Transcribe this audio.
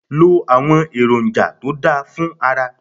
Lo àwọn èròǹjà to dá fún ara.